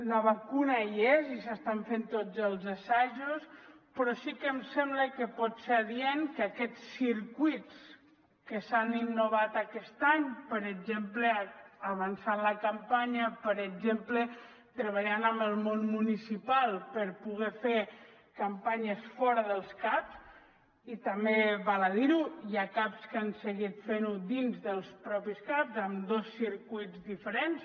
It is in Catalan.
la vacuna hi és i s’estan fent tots els assajos però sí que em sembla que pot ser adient que aquests circuits que s’han innovat aquest any per exemple avançant la campanya per exemple treballant amb el món municipal per poder fer campanyes fora dels caps i també val a dir ho hi ha caps que han seguit fent ho dins dels mateixos caps amb dos circuits diferents